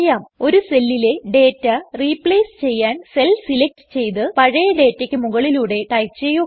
ഒരു സെല്ലിലെ data replace ചെയ്യാൻ സെൽ സെലക്ട് ചെയ്ത് പഴയ ഡേറ്റക്ക് മുകളിലൂടെ ടൈപ് ചെയ്യുക